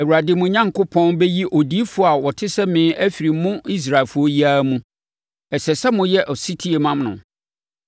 Awurade, mo Onyankopɔn, bɛyi odiyifoɔ a ɔte sɛ me afiri mo Israelfoɔ yi ara mu. Ɛsɛ sɛ moyɛ ɔsetie ma no.